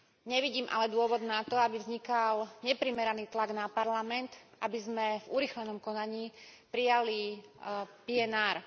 Nevidím ale dôvod na to, aby vznikal neprimeraný tlak na Parlament, aby sme v urýchlenom konaní prijali PNR.